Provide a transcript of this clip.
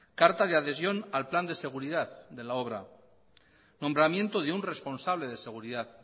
carta de adhesión al plan de seguridad de la obra nombramiento de un responsable de seguridad